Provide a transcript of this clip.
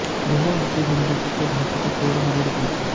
यह उनकी जिंदगी के ढाँचे को तोड़ मरोड़ देगी